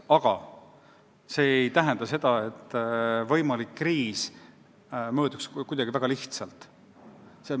Aga see ei tähenda seda, et võimalik kriis möödub kindlasti kuidagi väga lihtsalt.